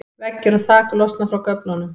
veggir og þak losna frá göflunum